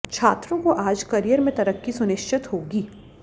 छात्रों को आज करियर में तरक्की सुनिश्चित होगी